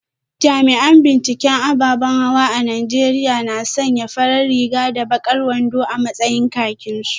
Jami’an binciken ababan hawa a Najeriya na sanya farar riga da bakar wando a matsayin kakinsu